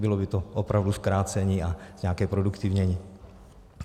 Bylo by to opravdu zkrácení a nějaké zproduktivnění.